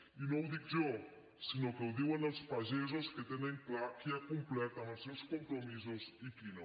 i no ho dic jo sinó que ho diuen els pagesos que tenen clar qui ha complert amb els seus compromisos i qui no